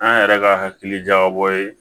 An yɛrɛ ka hakili jagabɔ ye